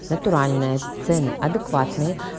натуральная цены адекватные